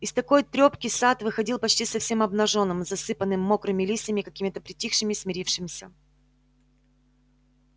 из такой трёпки сад выходил почти совсем обнажённым засыпанным мокрыми листьями какими-то притихшим и смирившимся